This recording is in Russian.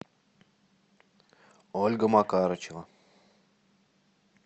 ольга макарычева